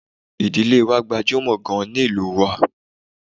Ìdílé wa gbajúmọ̀ gaan ni ìlú wa